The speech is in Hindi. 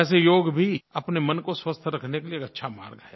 वैसे योग भी अपने मन को स्वस्थ रखने के लिये एक अच्छा मार्ग है